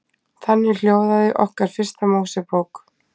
Þannig hljóðaði okkar fyrsta Mósebók.